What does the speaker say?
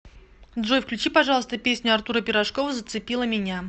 джой включи пожалуйста песню артура пирожкова зацепила меня